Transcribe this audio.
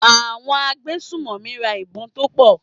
Àwọn agbésùnmọ̀mí ra ìbọn tó pọ̀.